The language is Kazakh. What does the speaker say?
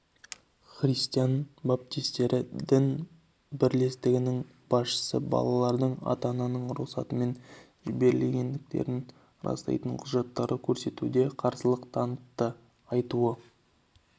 христиан баптистері діни бірлестігінің басшысы балалардың ата-ананың рұқсатымен жіберілгендігін растайтын құжатты көрсетуге қарсылық танытты айтуы